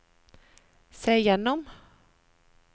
se gjennom